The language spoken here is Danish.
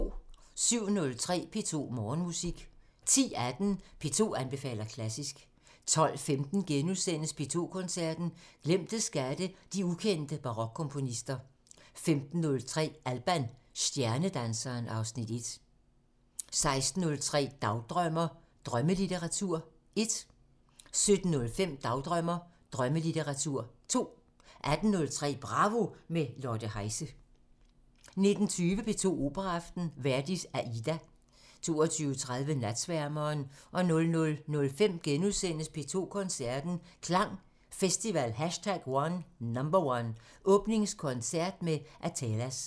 07:03: P2 Morgenmusik 10:18: P2 anbefaler klassisk 12:15: P2 Koncerten – Glemte skatte – de ukendte barokkomponister * 15:03: Alban – stjernedanseren (Afs. 1) 16:03: Dagdrømmer: Drømmelitteratur 1 17:05: Dagdrømmer: Drømmelitteratur 2 18:03: Bravo – med Lotte Heise 19:20: P2 Operaaften – Verdi: Aida 22:30: Natsværmeren 00:05: P2 Koncerten – Klang Festival #1 – Åbningskoncert med Athelas *